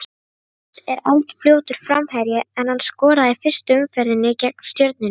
Magnús er eldfljótur framherji en hann skoraði í fyrstu umferðinni gegn Stjörnunni.